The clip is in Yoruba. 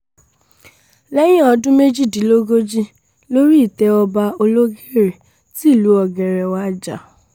lẹ́yìn ọdún méjìdínlógójì lórí ìtẹ́ ọba ológère tìlú ọ̀gẹ́rẹ́ wájà